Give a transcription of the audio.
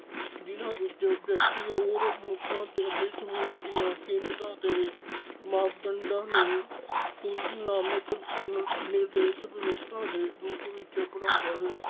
ਜਿਨਾਂ ਵਿੱਚ ਵਿਅਕਤੀ ਔਰ ਮਨੁੱਖਾਂ ਅਤੇ ਸਮੂਹਾਂ ਦੀਆਂ ਕੀਮਤਾਂ ਦੇ ਮਾਪਦੰਡਾਂ ਨੂੰ ਤੁਲਨਾਮਕ। ਨਿਰਦੇਸ਼ ਵਿਵਸਥਾ ਦੇ ਰੂਪ ਵਿੱਚ ਬਣਾਉਂਦਾ ਹੈ।